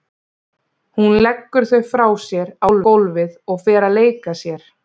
Hún leggur þau frá sér á gólfið og fer að leika sér.